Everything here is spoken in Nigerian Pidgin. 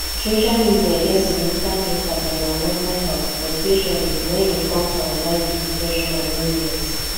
social media get a significant impact on our mental health especially when e come to anxiety depression and loneliness